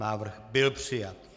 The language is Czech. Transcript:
Návrh byl přijat.